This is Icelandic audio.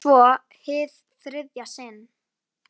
Og svo- hið þriðja sinn.